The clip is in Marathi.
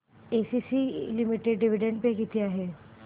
एसीसी लिमिटेड डिविडंड पे किती आहे